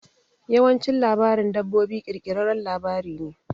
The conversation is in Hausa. Yawancin labarin dabbobi ƙirƙirarren labari ne.